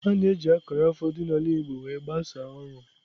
A na-eji akara afọ dị n'ala igbo wee gbasaa ọrụ.